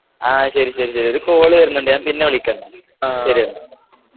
ആഹ് ശരി, ശരി, ശരി ഒരു കോള് വരുന്നുണ്ട്, ഞാൻ പിന്നെ വിളിക്കാം നിന്നെ. ശരി എന്നാ.